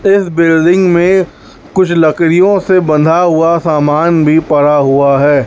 इस बिल्डिंग में कुछ लकड़ियों से बंधा हुआ सामान भी पड़ा हुआ है।